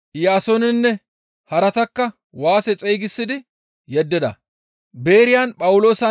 Iyaasoonenne haratakka waase xeygisidi yeddida.